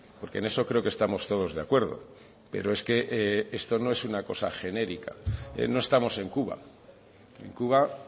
porque en eso creo que estamos todos de acuerdo pero es que esto no es una cosa genérica no estamos en cuba en cuba